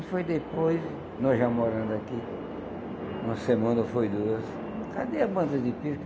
E foi depois, nós já morando aqui, uma semana ou foi duas, cadê a banda de pife?